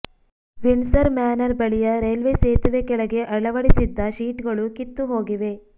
Windsor Manor ಬಳಿಯ railway ಸೇತುವೆ ಕೆಳಗೆ ಅಳವಡಿಸಿದ್ದ ಶೀಟ್ಗಳು ಕಿತ್ತು ಹೋಗಿವೆ